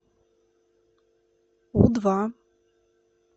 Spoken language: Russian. у два